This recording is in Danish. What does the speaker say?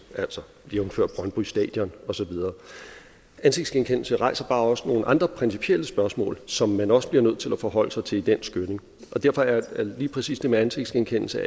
altså jævnfør brøndby stadion og så videre ansigtsgenkendelse rejser bare også nogle andre principielle spørgsmål som man også bliver nødt til at forholde sig til i den skynding og derfor er lige præcis det med ansigtsgenkendelse